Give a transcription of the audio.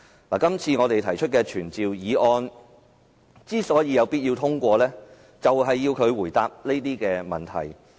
我們今次提出的傳召議案有必要通過，以要求司長回答這些問題。